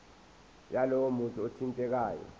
yalowo muntu othintekayo